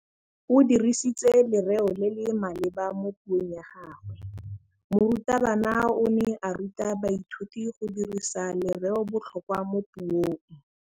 O dirisitse lerêo le le maleba mo puông ya gagwe. Morutabana o ne a ruta baithuti go dirisa lêrêôbotlhôkwa mo puong.